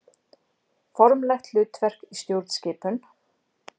Formlegt hlutverk í stjórnskipun.